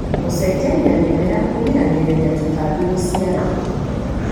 Gũcenjania mĩmera kũgiragĩrĩria tũtambi gũciarana.